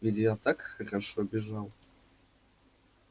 ведь я так хорошо бежал